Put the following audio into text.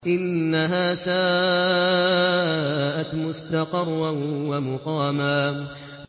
إِنَّهَا سَاءَتْ مُسْتَقَرًّا وَمُقَامًا